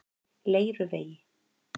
Leiruvegi